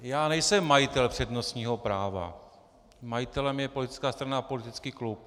Já nejsem majitel přednostního práva, majitelem je politická strana a politický klub.